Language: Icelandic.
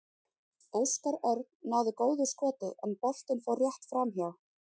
Óskar Örn náði góðu skoti en boltinn fór rétt framhjá.